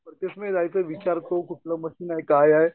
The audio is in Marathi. जायचं कुठलं मशीन आहे काय आहे?